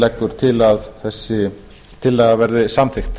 leggur til að þessi tillaga verði samþykkt